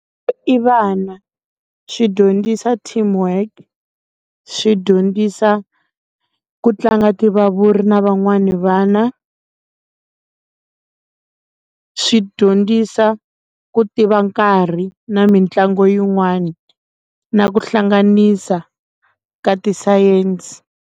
I vana swi dyondzisa teamwork swi dyondzisa ku tlanga tivavuri na van'wani vana swi dyondzisa ku tiva nkarhi na mitlangu yin'wani na ku hlanganisa ka tisayense.